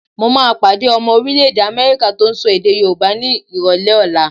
Mo máa pàdé ọmọ orílẹ̀-èdè Amẹ́ríkà tó ń sọ èdè Yorùbá ni ìrọ̀lẹ́ ọ̀la.